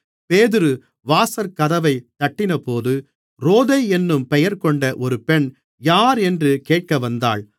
பேதுரு வாசற்கதவைத் தட்டினபோது ரோதை என்னும் பெயர்கொண்ட ஒரு பெண் யாரென்று கேட்க வந்தாள்